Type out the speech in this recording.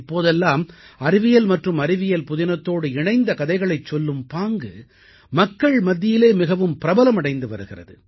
இப்போதெல்லாம் அறிவியல் மற்றும் அறிவியல் புதினத்தோடு இணைந்த கதைகளைச் சொல்லும் பாங்கு மக்கள் மத்தியிலே மிகவும் பிரபலமடைந்து வருகிறது